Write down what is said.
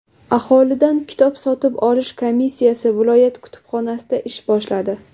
Aholidan kitob sotib olish komissiyasi viloyat kutubxonasida ish boshladi.